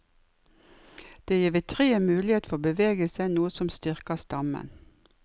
Det vil gi treet mulighet for bevegelse, noe som styrker stammen.